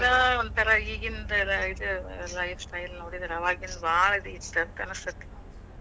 ಏನೋ ಒಂದಥರಾ ಈಗಿಂತರ ಇ ~ ಇದ್ life style ನೋಡಿದ್ರ ಅವಾಗಿಂದ್ ಭಾಳ್ best ಅಂತ ಅನಸ್ತೈತಿ.